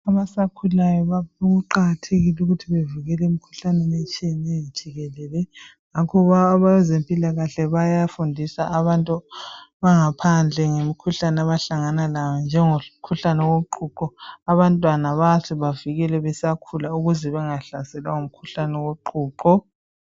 Abasakhulayo kuqakathekile ukuthi bevekelwe emkhuhlaneni etshiyeneyo jikelele. Ngakho abezempilakahle bayafundisa abantu bangaphandle ngemikhuhlane abahlangana layo njengomkhuhlane woqhuqho. Abantwana bayahle bavikelwe besakhula ukuze bangahlaselwa ngumkhuhlane woqhuqho.